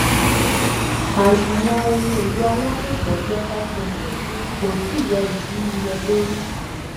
àsùnwọn ohun èlò alálòpọ̀ jẹ́ five hundred kò tíì yọ ìdínniyẹ lórí.